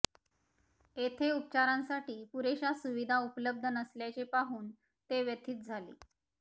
येथे उपचारांसाठी पुरेशा सुविधा उपलब्ध नसल्याचे पाहून ते व्यथित झाले